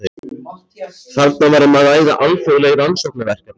Þarna var um að ræða alþjóðleg rannsóknarverkefni.